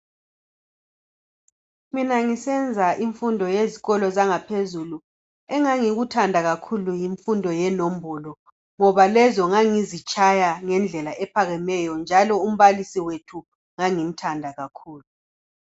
Mina ngisenza imfundo yezikolo zangaphezulu engangikuthanda kakhulu yimfundo yenombolo ngoba lezo ngangizitshaya ngendlela ephakemeyo njalo umbalisi wethu ngangimthanda kakhulu